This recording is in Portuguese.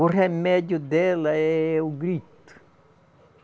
O remédio dela é o grito.